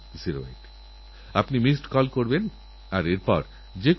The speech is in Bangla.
একদিক থেকে সোনালের বিয়েপ্রকৃতির প্রতি ভালোবাসার এক অমরগাথা হয়ে রইলো